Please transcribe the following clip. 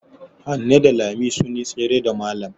Hanne da Lami sun yi tsere da malam.